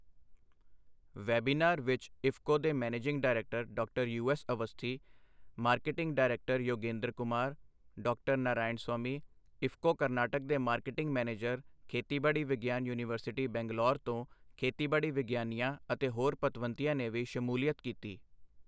Webinar ਵਿੱਚ ਇਫਕੋ ਦੇ managing director ਡਾ. U S Awasthi, marketing director Yogendra Kumar, ਡਾ. ਨਾਰਾਇਣਸਵਾਮੀ, ਇਫਕੋ ਕਰਨਾਟਕ ਦੇ ਮਾਰਕੀਟਿੰਗ ਮੈਨੇਜਰ, ਖੇਤੀਬਾੜੀ ਵਿਗਿਆਨ ਯੂਨੀਵਰਸਿਟੀ, ਬੰਗਲੌਰ ਤੋਂ ਖੇਤੀਬਾੜੀ ਵਿਗਿਆਨੀਆਂ ਅਤੇ ਹੋਰ ਪਤਵੰਤਿਆਂ ਨੇ ਵੀ ਸ਼ਮੂਲੀਅਤ ਕੀਤੀ।